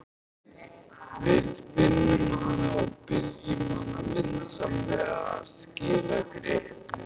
Við finnum hana og biðjum hana vinsamlega að skila gripnum.